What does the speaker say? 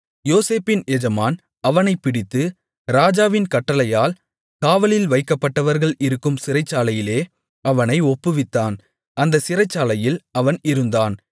யோசேப்பின் எஜமான் அவனைப்பிடித்து ராஜாவின் கட்டளையால் காவலில் வைக்கப்பட்டவர்கள் இருக்கும் சிறைச்சாலையிலே அவனை ஒப்புவித்தான் அந்தச் சிறைச்சாலையில் அவன் இருந்தான்